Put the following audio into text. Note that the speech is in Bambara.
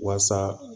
Waasa